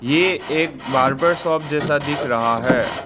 ये एक barber shop जैसा दिख रहा है।